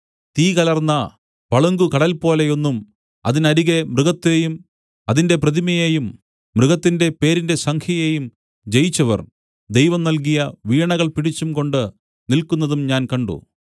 തീ കലർന്ന പളുങ്കുകടൽ പോലെയൊന്നും അതിനരികെ മൃഗത്തെയും അതിന്റെ പ്രതിമയേയും മൃഗത്തിന്റെ പേരിന്റെ സംഖ്യയേയും ജയിച്ചവർ ദൈവം നൽകിയ വീണകൾ പിടിച്ചുംകൊണ്ട് നില്ക്കുന്നതും ഞാൻ കണ്ട്